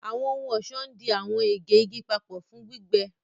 Àwọn ohun-ọṣọ ndí àwọn ègè igi papọ fún gbígbẹ.